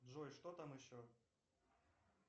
джой что там еще